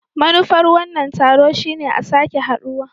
Manufar wannan taro shine a sake haduwa.